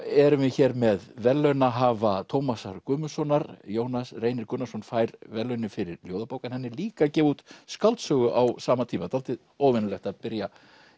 erum hér með verðlaunahafa Tómasar Guðmundssonar Jónas Reynir Gunnarsson fær verðlaunin fyrir ljóðabók en hann er líka að gefa út skáldsögu á sama tíma dálítið óvenjulegt að byrja